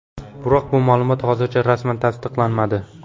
Biroq bu ma’lumot hozircha rasman tasdiqlanmadi.